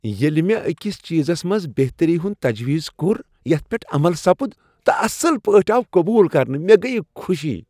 ییلِہ مےٚ أکِس چیزس منٛز بہتری ہُند تجویز کوٚر یتھ پیٹھ عمل سپُد تہٕ اصل پٲٹھۍ آو قبول کرنہٕ ،مےٚ گٔیۍ خوشی ۔